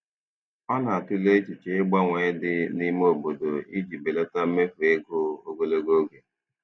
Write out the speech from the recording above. Ọ na-atụle echiche ịgbanwe dị n'ime obodo iji belata mmefu ego ogologo oge.